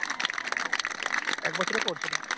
এক বছরের course ওটা